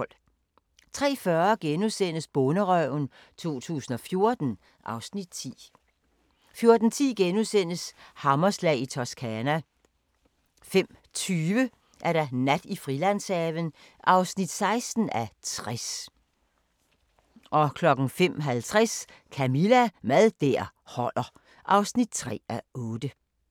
03:40: Bonderøven 2014 (Afs. 10)* 04:10: Hammerslag i Toscana * 05:20: Nat i Frilandshaven (16:60) 05:50: Camilla – Mad der holder (3:8)